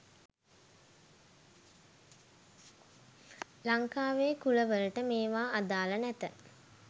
ලංකාවේ කුල වලට මේවා අදාළ නැත